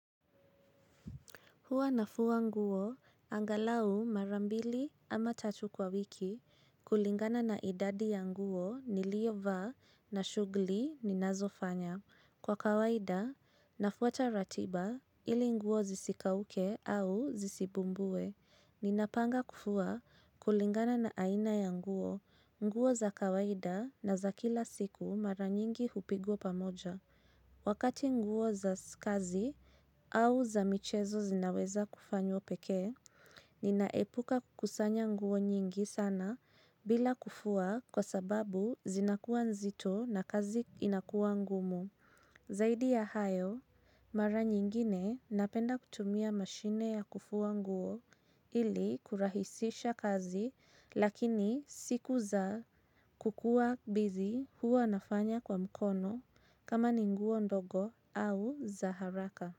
Huwa nafua nguo, angalau mara mbili ama tatu kwa wiki, kulingana na idadi ya nguo ni lio vaa na shughuli ninazofanya. Kwa kawaida, nafuata ratiba ili nguo zisikauke au zisibumbue. Ninapanga kufua kulingana na aina ya nguo, nguo za kawaida na za kila siku maranyingi hupigwa pamoja. Wakati nguo za kazi au za michezo zinaweza kufanywo pekee, ninaepuka kusanya nguo nyingi sana bila kufua kwa sababu zinakuwa nzito na kazi inakuwa ngumu. Zaidi ya hayo, mara nyingine napenda kutumia mashine ya kufua nguo ili kurahisisha kazi lakini siku za kukuwa busy huwa nafanya kwa mkono kama ni nguo ndogo au za haraka.